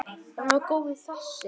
Hann var góður þessi.